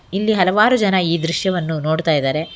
ಇಲ್ಲಿ ಹಲವಾರು ಜನ ಈ ದೃಶ್ಯವನ್ನು ನೋಡ್ತಾಯಿದಾರೆ.